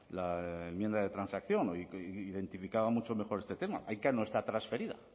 la enmienda de transacción identificaba mucho mejor este tema aica no está transferida